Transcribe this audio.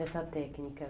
essa técnica?